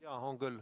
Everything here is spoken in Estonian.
Jah, on küll.